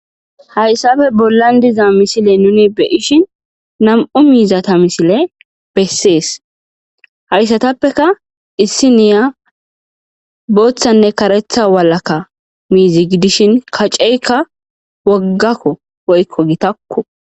Hayssafe bollan diza misile nuni beyishin nam7u miizata misile bessees hayssatappeka issi niya booththanne karetha walakka miizi gidishin kaceykka woggakko woykko gitakko.